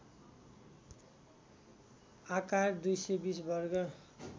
आकार २२० वर्ग